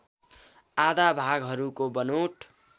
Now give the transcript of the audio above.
आधा भागहरूको बनोट